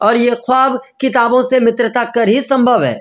और ये खवाब किताबो से मित्रता कर ही संभव है।